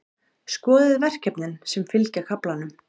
Skoðið verkefnin sem fylgja kaflanum.